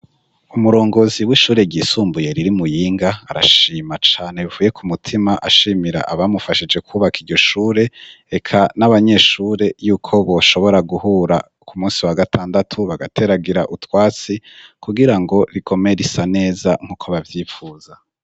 Umurongozi w'ishure ryisumbuye riri i Muyinga, arashima cane bivuye ku mutima ashimira abamufashije kubaka iryo shure, eka n'abanyeshure yuko boshobora guhura ku munsi wa gatandatu bagateragira utwatsi kugira ngo rigume risa neza nk'uko bavyifuza.